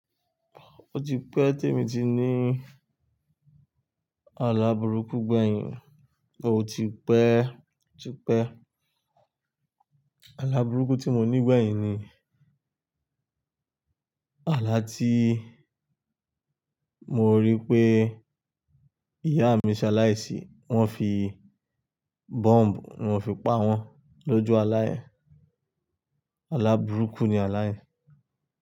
O ti pẹ́ tí èmi ti ní àlà burúkú gbẹ̀yìn, o ti pẹ́, o ti pẹ́. Àlà burúkú tí mo ní gbẹ̀yìn ni àlà tí mo rí pé ìyá mi ṣaláì sì, wón fi bomb wón fi pa wón lójú aláyẹ̀n. Àlà burúkú ni aláyẹ̀